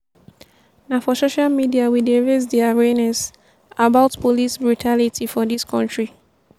na for social media wey dey raise di awareness about police brutality for dis country.